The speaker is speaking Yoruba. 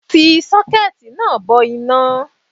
Fi sókẹ́ẹ̀tì náà bo iná